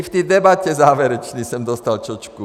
I v té debatě závěrečné jsem dostal čočku.